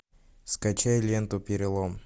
скачай ленту перелом